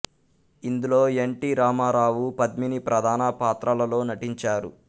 ఇందులో N T Rama Rao Padmini ప్రధాన పాత్రలలో నటించారు